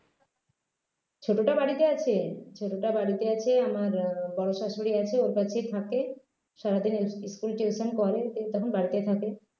ছোটোটা বাড়িতে আছে ছোটোটা বাড়িতে আছে আমার বড়ো শ্বাশুড়ী আছে ওর কাছে থাকে সারাদিন e school tuition করে তখন বাড়িতে থাকে